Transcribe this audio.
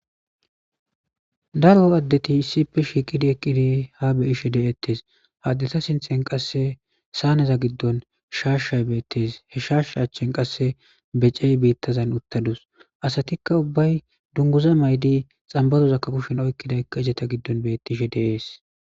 daro addeti issippe shiiqidi eqqidi ha beyishe de7ettes haddeta sinthen qasse saaneza giddon shaashshay beettes he shaashsha achchen qasse becey biittazan uttadus asatikka ubbay dunguza may7di xambazozakka kushen oykkiday ka ijeta giddon bettishe deees